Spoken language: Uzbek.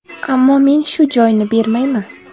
Ammo men shu joyni bermayman.